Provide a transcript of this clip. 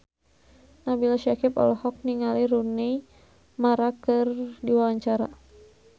Nabila Syakieb olohok ningali Rooney Mara keur diwawancara